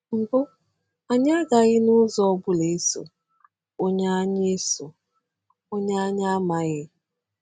Mbụ, anyị “agaghị n’ụzọ ọ bụla eso” onye anyị eso” onye anyị amaghị.